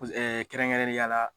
Paseke Kɛrɛnkɛrɛnnenyala